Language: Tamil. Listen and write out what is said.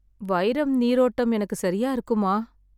வைரம், நீரோட்டம் எனக்கு சரியா இருக்குமா?